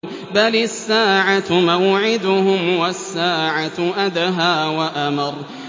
بَلِ السَّاعَةُ مَوْعِدُهُمْ وَالسَّاعَةُ أَدْهَىٰ وَأَمَرُّ